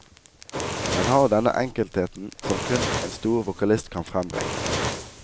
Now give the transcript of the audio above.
Den har denne enkeltheten som kun en stor vokalist kan frembringe.